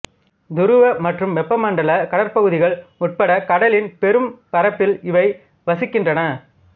துருவ மற்றும் வெப்ப மண்டல கடற்பகுதிகள் உட்பட கடலின் பெரும் பரப்பில் இவை வசிக்கின்றன